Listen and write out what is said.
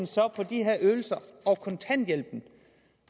så på de her ydelser og kontanthjælpen